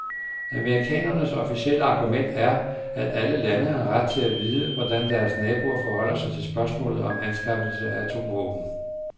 Amerikanernes officielle argument er, at alle lande har ret til at vide, hvordan deres naboer forholder sig til spørgsmålet om anskaffelsen af atomvåben.